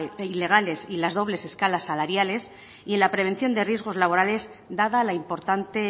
ilegales y las dobles escalas salariales y en la prevención de riesgos laborales dada la importante